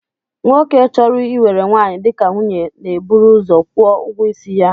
Nwoke chọrọ iwere nwaanyị dịka nwunye na-eburu ụzọ kwụọ ụgwọisi ya